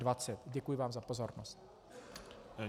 Děkuji vám za pozornost.